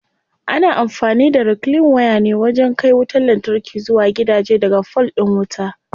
Ana amfani da reclean waya ne wajen kai wutar lantarki zuwa gidaje daga fol din wuta.